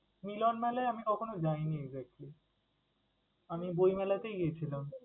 মিলনমেলায় আমি কখনো যাই নি exactly, আমি বই মেলাতেই গেছিলাম।